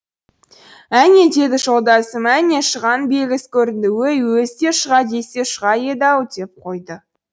әне деді жолдасым әне шұғаның белгісі көрінді өй өзі де шұға десе шұға еді ау деп қойды